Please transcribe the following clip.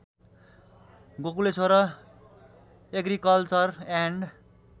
Gokuleshwar agriculture and